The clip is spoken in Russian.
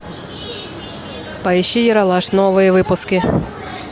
поищи ералаш новые выпуски